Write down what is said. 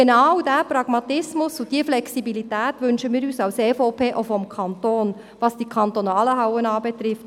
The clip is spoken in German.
Genau diesen Pragmatismus und diese Flexibilität wünschen wir von der EVP uns auch vom Kanton, was die kantonalen Hallen anbelangt.